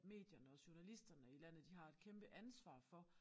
Medierne og journalisterne i landet de har et kæmpe ansvar for